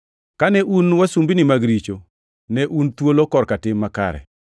Kane un wasumbini mag richo, ne un thuolo korka tim makare.